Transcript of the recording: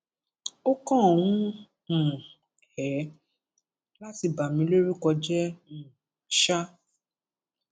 ó kàn wù um ẹ láti bà mí lórúkọ jẹ um ṣáá